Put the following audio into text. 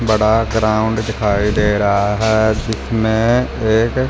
बड़ा ग्राउंड दिखाई दे रहा है जिसमें एक--